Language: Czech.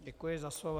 Děkuji za slovo.